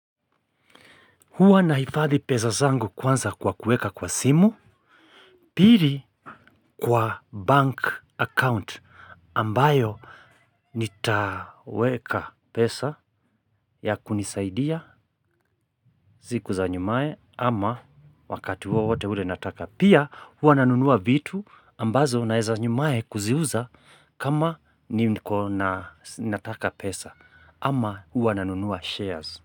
Huwa naifadhi peza zangu kwanza kwa kueka kwa simu pili kwa bank account ambayo nitaweka pesa ya kunisaidia siku za nyumae ama wakati wote ule nataka. Pia huwa nanunua vitu ambazo naeza nyumae kuziuza kama ni nataka pesa ama huwa nanunua shares.